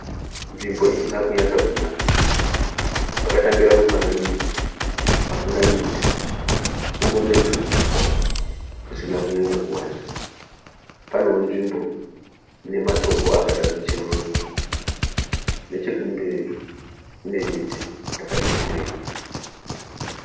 Nzvimbo isinakunyatsokunaka zvakatangira kumufanidzo hakuna miti kungori netuhuswa tusina kunyanyo kuwanda panewo nzvimbo inematombo akada kucheruka nechekumberi kune miti yakati kurei.